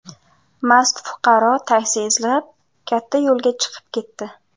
Mast fuqaro taksi izlab, katta yo‘lga chiqib ketdi.